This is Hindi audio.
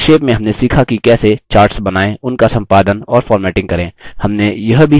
संक्षेप में हमने सीखा कि कैसे: charts बनाएँ उनका सम्पादन और फ़ॉर्मेटिंग करें